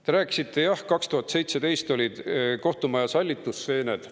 Te rääkisite, et 2017 olid kohtumajas hallitusseened.